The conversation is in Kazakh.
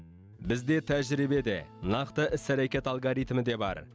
бізде тәжірибе де нақты іс әрекет алгоритмі де бар